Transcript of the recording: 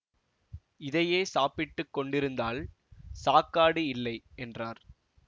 இதையே சாப்பிட்டுக் கொண்டிருந்தால் சாக்காடு இல்லை என்றார்